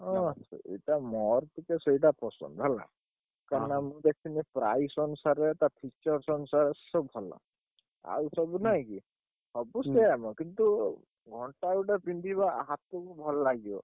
ଅ ସେଇଟା ମୋର ଟିକେ ସେଇଟା ପସନ୍ଦ ହେଲା? କାହିଁକିନା ମୁଁ ଦେଖିଲି price ଅନୁସାରେ ତା feature ଅନୁସାରେ ସେ ସବୁ ଭଲ। ଆଉ ସବୁ ନାଇଁକି ସବୁ ସେୟାମ କିନ୍ତୁ ଘଣ୍ଟା ଗୋଟେ ପିନ୍ଧିବା ହାତୁକୁ ଭଲ ଲାଗିବ ।